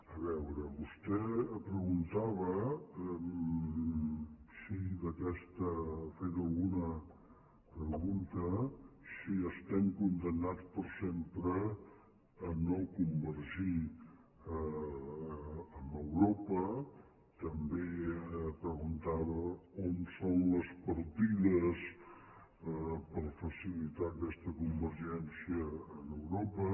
a veure vostè em preguntava ha fet alguna pregunta si estem condemnats per sempre a no convergir amb europa també preguntava on són les partides per facilitar aquesta convergència amb europa